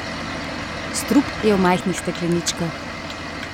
Strup je v majhnih stekleničkah.